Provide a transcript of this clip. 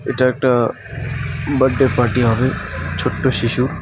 এটা একটা birthday party হবে ছোট্ট শিশুর .